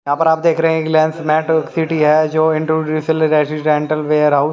यहां पर आप देख रहे हैं कि लेंस मेट्रो सिटी है जो इंटरव्यू वेयरहाउ--